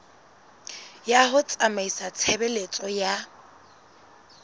ya ho tsamaisa tshebeletso ya